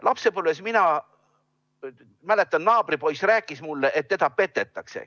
Ma mäletan, kuidas lapsepõlves naabripoiss rääkis mulle, et teda petetakse.